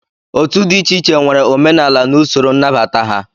Otu dị iche iche nwere omenala na usoro nnabata ha